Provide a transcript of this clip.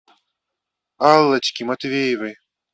аллочке матвеевой